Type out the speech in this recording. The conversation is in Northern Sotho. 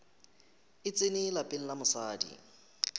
e tsene lapeng la mosadi